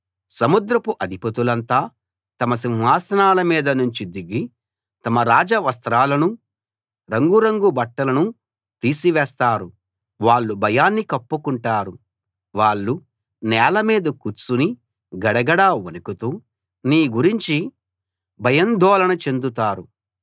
సముద్రపు అధిపతులంతా తమ సింహాసనాల మీద నుంచి దిగి తమ రాజ వస్త్రాలనూ రంగురంగుల బట్టలనూ తీసి వేస్తారు వాళ్ళు భయాన్ని కప్పుకుంటారు వాళ్ళు నేల మీద కూర్చుని గడగడ వణకుతూ నీ గురించి భయాందోళన చెందుతారు